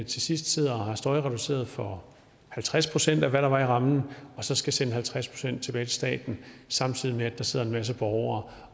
til sidst sidder og har støjreduceret for halvtreds procent af hvad der var i rammen og så skal sende halvtreds procent tilbage til staten samtidig med at der sidder en masse borgere